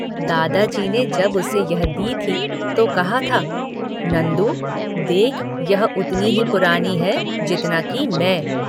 दादाजी ने जब उसे यह दी थी तो कहा था—"नंदू देख यह उतनी ही पुरानी है जितना कि मैं।